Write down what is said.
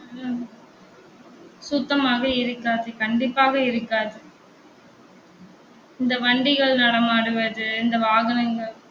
சுத்தமாக இருக்காது கண்டிப்பாக இருக்காது இந்த வண்டிகள் நடமாடுவது இந்த வாகனங்கள்